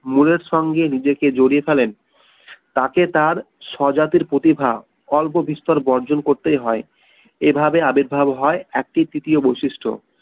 মনের সঙ্গে নিজেকে জড়িয়ে ফেলেন তাকে তার স্বজাতির প্রতিভা অল্প বিস্তর বর্জন করতেই হয় এভাবে আবির্ভাব হয় একটি তৃতীয় বৈশিষ্ট্য